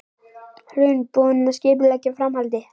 Hrund: Búinn að skipuleggja framhaldið?